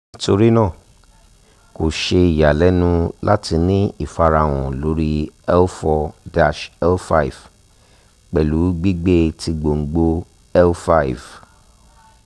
nitorina ko ṣe iyalẹnu lati ni ifarahan lori l four -l five pẹlu gbigbe ti gbongbo l five